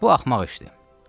Bu axmaq işdir.